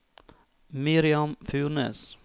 Miriam Furnes